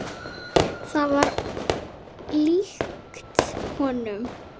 Það var líkt honum.